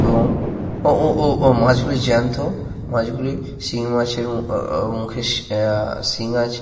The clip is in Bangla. এবং ও ও ও ও মাছ গুলি জ্যান্ত। মাছগুলি শিঙি মাছের আহ আহ মুখে সিং আছে।